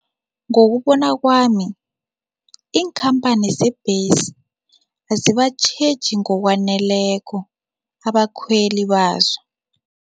Ngokubona kwami, iinkhamphani zeembesi azibatjheji ngokwaneleko abakhweli bazo.